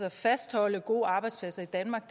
og fastholde gode arbejdspladser i danmark